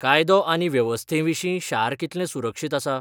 कायदो आनी वेवस्थेविशीं शार कितलें सुरक्षीत आसा?